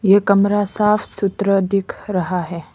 यह कमरा साफ सुथरा दिख रहा है।